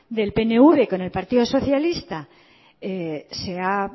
del pnv con el partido socialista se ha